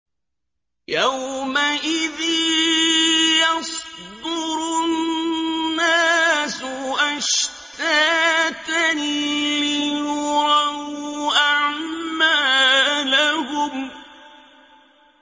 يَوْمَئِذٍ يَصْدُرُ النَّاسُ أَشْتَاتًا لِّيُرَوْا أَعْمَالَهُمْ